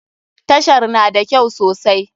Tashar na da kyau sosai.